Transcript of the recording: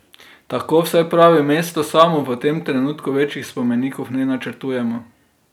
Tako vsaj pravi mesto samo: 'V tem trenutku večjih spomenikov ne načrtujemo.